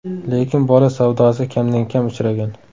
Lekin bola savdosi kamdan-kam uchragan.